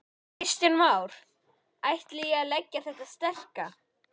Kristján Már: Ætti ég að leggja í þetta sterka?